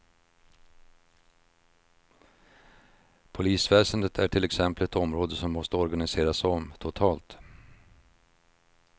Polisväsendet är till exempel ett område som måste organiseras om totalt.